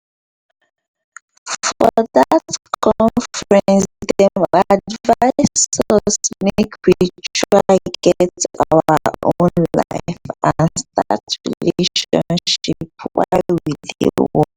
for dat conference dem advise us make we try get our own life and start relationship while we dey work